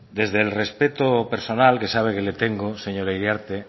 desde el respeto personal que sabe que le tengo señora iriarte